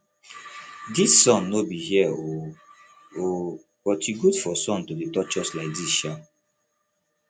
dis sun no be here o o but e good for sun to dey touch us like dis sha